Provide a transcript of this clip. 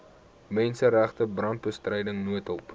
menseregte brandbestryding noodhulp